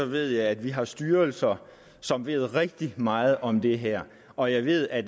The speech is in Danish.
ved jeg at vi har styrelser som ved rigtig meget om det her og jeg ved at